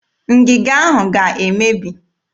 Ngịga ahụ ga-emebi.